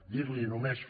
dir li només